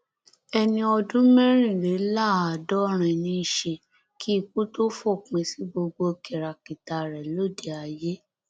ẹni ọdún mẹrìnléláàádọrin ní í ṣe kí ikú tóó fòpin sí gbogbo kìràkìtà rẹ lóde ayé